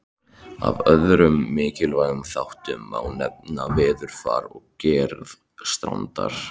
Af öðrum mikilvægum þáttum má nefna veðurfar og gerð strandar.